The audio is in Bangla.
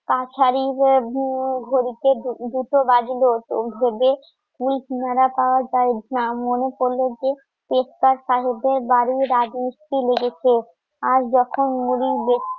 দুটা বাজল মনে পরল জে রাজমিস্ত্রি লেগেছে আর যখন মুড়ির